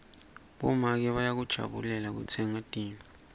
bomake bayakujabulela kutsenga tintfo